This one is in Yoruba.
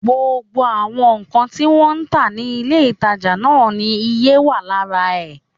Gbogbo àwọn nǹkan tí wọ́n ń tà ní ilé-ìtàjà náà ni iye wà lára ẹ̀